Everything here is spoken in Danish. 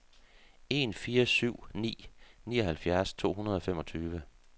en fire syv ni nioghalvfjerds to hundrede og femogtyve